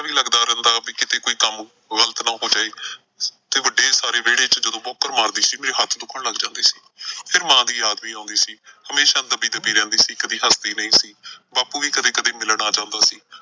ਰਹਿੰਦਾ ਵੀ ਕਿਤੇ ਕੋਈ ਕੰਮ ਗ਼ਲਤ ਨਾ ਹੋ ਜਾਏ ਤੇ ਵੱਡੇ ਸਾਰੇ ਵੇਹੜੇ ਚ ਜਦੋਂ ਵੋਹਕਰ ਮਾਰਦੀ ਸੀ ਮੇਰੇ ਹੱਥ ਦੁੱਖਣ ਲੱਗ ਜਾਂਦੇ ਸੀ। ਫਿਰ ਮਾਂ ਦੀ ਯਾਦ ਵੀ ਆਉਂਦੀ ਸੀ। ਹਮੇਸ਼ਾਂ ਦੱਬੀ ਦੱਬੀ ਰਹਿੰਦੀ ਸੀ ਕਦੇ ਹੱਸਦੀ ਨਈਂ ਸੀ, ਬਾਪੂ ਵੀ ਮਿਲਣ ਆ ਜਾਂਦਾ ਸੀ।